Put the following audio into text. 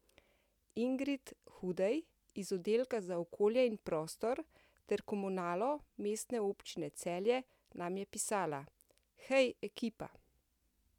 Ingrid Hudej iz Oddelka za okolje in prostor ter komunalo Mestne občine Celje nam je pisala: 'Hej ekipa!